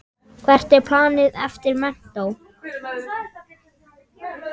Hvert er planið eftir menntó?